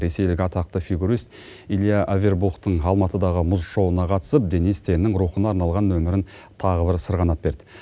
ресейлік атақты фигурист илья авербухтың алматыдағы мұз шоуына қатысып денис теннің рухына арнаған нөмірін тағы бір сырғанап берді